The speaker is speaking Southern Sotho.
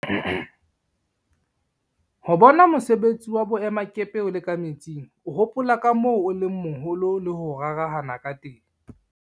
Ho bona mosebetsi wa boemakepe o le ka metsing, o hopola ka moo o leng moholo le ho rarahana ka teng.